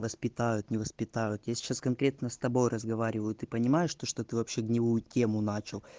воспитают не воспитывают я сейчас конкретно с тобой разговариваю ты понимаешь то что ты вообще гнилую тему начал